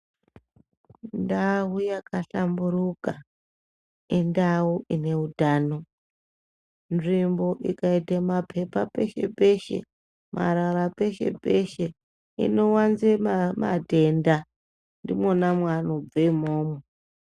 Ndau yakahlamburuka indau ine utano. Nzvimbo ikaite mapepa peshe peshe marara peshe peshe inowanze matenda, ndimwona mwaanobve imwomwo .